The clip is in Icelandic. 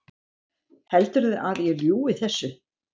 Heldurðu að ég ljúgi þessu?